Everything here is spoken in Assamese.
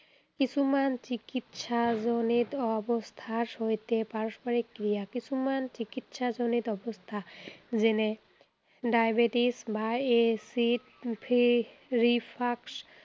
কিছুমান চিকিৎসাজনিত অৱস্থাৰ সৈতে পাৰস্পৰিক ক্ৰিয়া। কিছুমান চিকিৎসাজনিত অৱস্থা, যেনে ডায়েবেটিচ বা এচিড